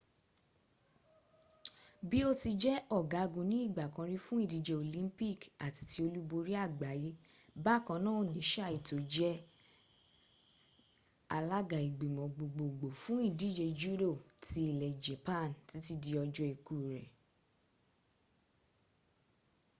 bí ó ti jẹ́ ọ̀gágun ní ìgbà kan rí fún ìdíje olympic àti ti olúborí àgbáyé bákan náà ni saito jẹ́ the alága ìgbìmọ̀ gbogbogbò fún ìdíje judo ti ilẹ̀ japan títí dí ọjọ́ ikú rẹ̀